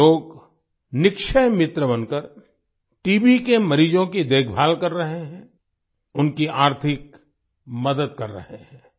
ये लोग निक्षय मित्र बनकर टीबी के मरीजों की देखभाल कर रहे हैं उनकी आर्थिक मदद कर रहे हैं